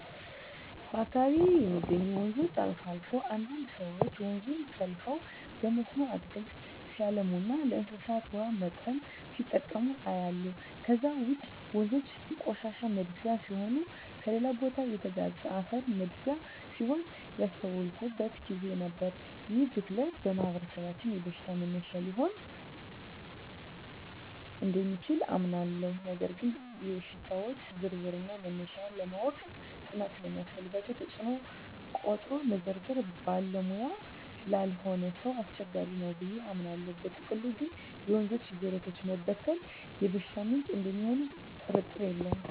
በአካባቢየ የሚገኙ ወንዞች አልፎ አልፎ አንዳንድ ሰወች ወንዙን ጠልፈው በመስኖ አትክልት ሲያለሙና ለእንስሳት ውሃ ማጠጫ ሲጠቀሙ አያለሁ። ከዛ ውጭ ወንዞ የቆሻሻ መድፊያ ሲሆኑና ከሌላ ቦታ የተጋዘ አፈር መድፊያ ሲሆኑም ያስተዋልኩበት ግዜ ነበር። ይህ ብክለት በማህበረሰባችን የበሽታ መነሻ ሊሆን እደሚችል አምናለሁ ነገር ግን የሽታወች ዝርዝርና መነሻ ለማወቅ ጥናት ስለሚያስፈልገው ተጽኖውን ቆጥሮ መዘርዘር ባለሙያ ላልሆነ ሰው አስቸጋሪ ነው ብየ አምናለው። በጥቅሉ ግን የወንዞችና የጅረቶች መበከል የበሽታ ምንጭ እደሚሆኑ ጥርጥር የለውም።